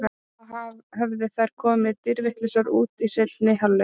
Þá hefðu þær komið dýrvitlausar út í seinni hálfleikinn.